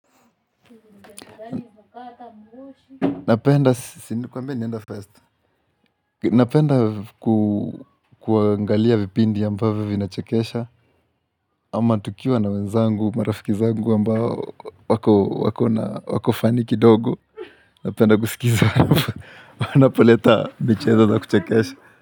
Napenda kuangalia vipindi ya ambavyo vinachekesha ama tukiwa na wenzangu, marafiki zangu ambao wako funny kidogo Napenda kusikizi wanapoleta michezo za kuchekesha.